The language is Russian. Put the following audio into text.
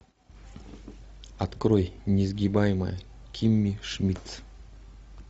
открой несгибаемая кимми шмидт